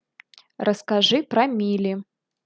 расскажи про мили